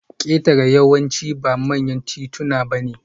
Ketare yawanci ba manyan tituna bane